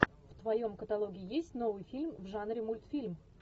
в твоем каталоге есть новый фильм в жанре мультфильм